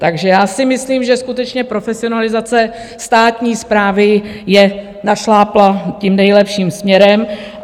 Takže já si myslím, že skutečně profesionalizace státní správy je našláplá tím nejlepším směrem.